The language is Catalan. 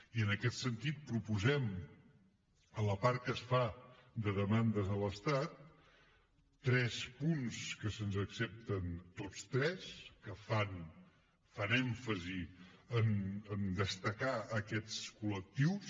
i en aquest sentit proposem en la part que es fa de demandes a l’estat tres punts que se’ns accepten tots tres que fan èmfasi a destacar aquests col·lectius